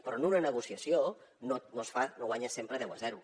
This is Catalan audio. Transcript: però en una negociació no es fa no guanyes sempre deu a zero